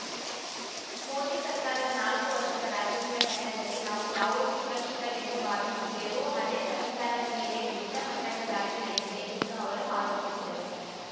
ಮೋದಿ ಸರ್ಕಾರದ ನಾಲ್ಕು ವರ್ಷದ ರಾಜಕೀಯ ಪಯಣದಲ್ಲಿ ನಾವು ಯಾವುದು ಸುರಕ್ಷಿತವೆಂದು ಭಾವಿಸಿದ್ದೆವೋ ಅದೇ ಸಂವಿಧಾನದ ಮೇಲೆಯೇ ದೊಡ್ಡ ಮಟ್ಟದ ದಾಳಿ ನಡೆದಿದೆ ಎಂದು ಅವರು ಆರೋಪಿಸಿದರು